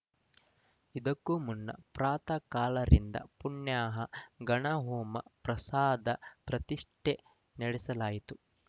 ಇದಕ್ಕೂ ಮುನ್ನ ಪ್ರಾತಃಕಾಲ ರಿಂದ ಪುಣ್ಯಾಹ ಗಣಹೋಮ ಪ್ರಾಸಾದ ಪ್ರತಿಷ್ಠೆ ನಡೆಸಲಾಯಿತು